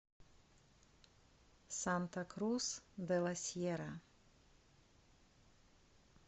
санта крус де ла сьерра